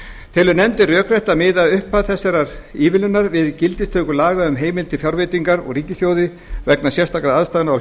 telur nefndin rökrétt að miða upphaf þessarar ívilnunar við gildistöku laga um heimild til fjárveitingar úr ríkissjóði vegna sérstakra aðstæðna á